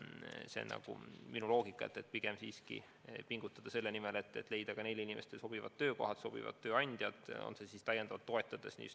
See on minu loogika: pigem siiski pingutada selle nimel, et leida ka nendele inimestele sobivad töökohad, sobivad tööandjad, olgu kas või viimaseid täiendavalt toetades.